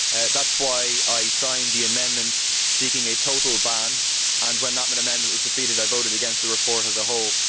That is why I signed the amendment seeking a total ban, and when that amendment was defeated I voted against the report as a whole.